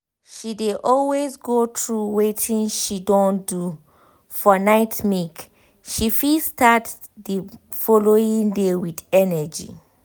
she dey always go through wetin she don do for nightmake she fit start the following day with energy